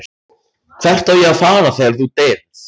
Hvert á ég að fara þegar þú deyrð?